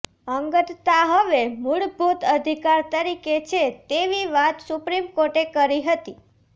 અંગતતા હવે મૂળભૂત અધિકાર તરીકે છે તેવી વાત સુપ્રીમ કોર્ટે કરી હતી